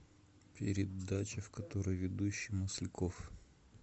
передача в которой ведущий масляков